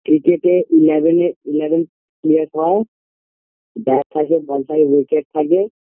ক্রিকেটে create হয়ে bat থাকে ball থাকে wicket থাকে